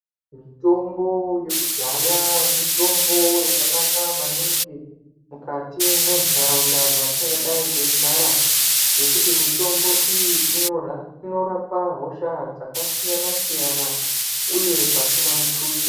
Mitombo yekudhaya mitombo yakanaka maningi mukati mwentaraunda dzatingadai teigara ngekuti mutombo iyi inorapa hosha dzakasiyana siyana uye pasina mutuso.